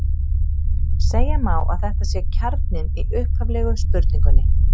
Segja má að þetta sé kjarninn í upphaflegu spurningunni!